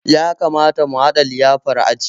Ya kamata mu haɗa liyafar aji